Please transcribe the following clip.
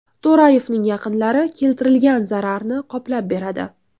To‘rayevning yaqinlari keltirilgan zararni qoplab beradi.